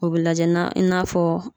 O be lajɛ na i n'a fɔ